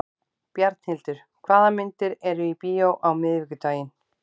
Bjarnhildur, hvaða myndir eru í bíó á miðvikudaginn?